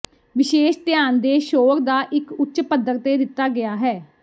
ਵਿਸ਼ੇਸ਼ ਧਿਆਨ ਦੇ ਸ਼ੋਰ ਦਾ ਇੱਕ ਉੱਚ ਪੱਧਰ ਤੇ ਦਿੱਤਾ ਗਿਆ ਹੈ